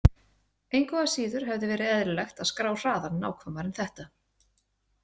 Engu að síður hefði verið eðlilegt að skrá hraðann nákvæmar en þetta.